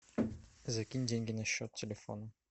закинь деньги на счет телефона